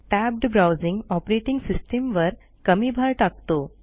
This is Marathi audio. टॅब्ड Browsingऑपरेटिंग सिस्टीमवर कमी भार टाकतो